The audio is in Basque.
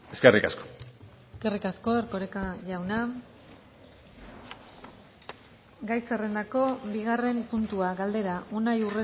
eskerrik asko eskerrik asko erkoreka jauna gai zerrendako bigarren puntua galdera unai